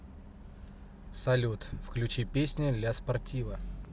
салют включи песня ля спортива